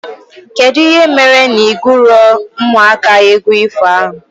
Kedụ ihe mere na i guro ụmụaka égwu ifo ahụ?